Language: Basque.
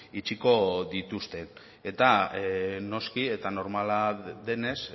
itxiko dituzte eta noski eta normala denez